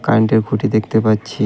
কারেন্টের খুঁটি দেখতে পাচ্ছি .